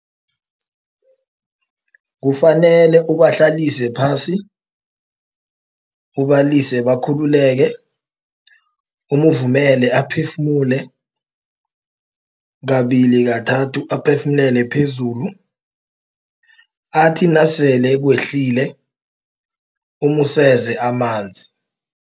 Kufanele ubahlalise phasi ubalise bakhululeke umuvumele aphefumule kabili kathathu aphefumulele phezulu athi nasele kwehlile umuseze amanzi.